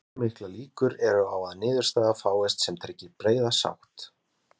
Sigríður: Hversu miklar líkur eru á að niðurstaða fáist sem tryggi breiða sátt?